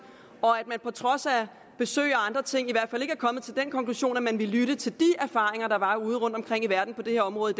og at man på trods af besøg og andre ting i hvert fald ikke er kommet til den konklusion at man ville lytte til de erfaringer der var udeomkring i verden på det her område